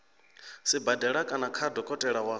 sibadela kana kha dokotela wa